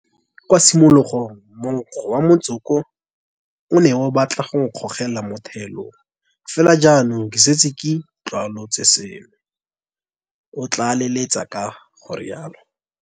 Kwa tshimologong monko wa motsoko o ne o batla go nkgogela mo thaelong, fela jaanong ke setse ke itlwaolotse seno, o tlaleletsa ka go rialo.